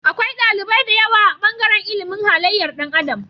Akwai ɗalibai da yawa a bangaran ilimin halayyar Dan adam